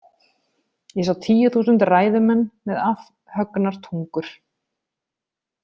Ég sá tíu þúsund ræðumenn með afhöggnar tungur.